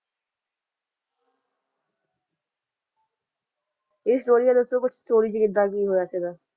ਆਯ story ਦਾ ਦਸੋ story ਚ ਕਿਦਾਂ ਕੀ ਹੋਯਾ ਸੀਗਾ